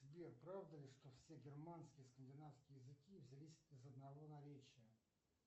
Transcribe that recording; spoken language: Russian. сбер правда ли что все германские скандинавские языки взялись из одного наречия